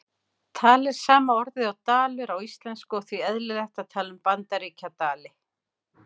Tal er sama orðið og dalur á íslensku og því eðlilegt að tala um Bandaríkjadali.